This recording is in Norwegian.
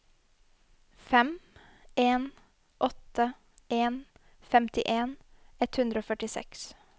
fem en åtte en femtien ett hundre og førtiseks